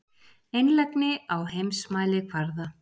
Einlægni á heimsmælikvarða.